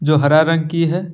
जो हरा रंग की है।